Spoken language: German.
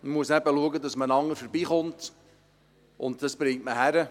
Man muss eben schauen, dass man aneinander vorbeikommt, und das bekommt man hin.